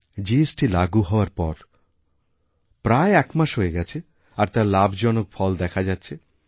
GST চালু হওয়ার পর প্রায় একমাস হয়ে গেছে আর তারলাভজনক ফল দেখা যাচ্ছে